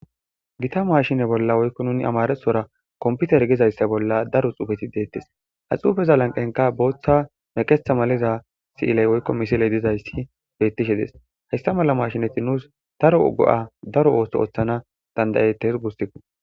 Gitta mashine bolla woyikko amarathoro komipitere gidayisa bolla darro xufezanika he xufeza laniqenikka botha meqetha malidda si'le woyiko misile de'zayisi betishe dee'si hessa mela mashineti nusi darro goòa daro osso othanasi danidaètesi.